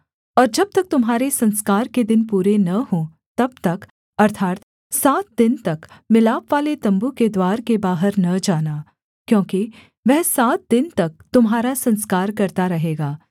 और जब तक तुम्हारे संस्कार के दिन पूरे न हों तब तक अर्थात् सात दिन तक मिलापवाले तम्बू के द्वार के बाहर न जाना क्योंकि वह सात दिन तक तुम्हारा संस्कार करता रहेगा